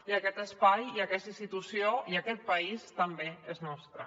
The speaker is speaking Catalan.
i aquest espai i aquesta institució i aquest país també són nostres